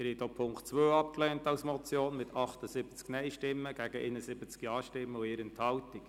Sie haben auch Punkt 2 als Motion abgelehnt, mit 78 Nein- gegen 71 Ja-Stimmen bei 1 Enthaltung.